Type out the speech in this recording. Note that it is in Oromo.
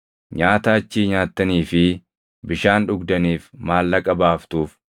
Nyaata achii nyaattanii fi bishaan dhugdaniif maallaqa baaftuuf.’ ”